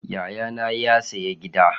Yayana ya sayi Gida.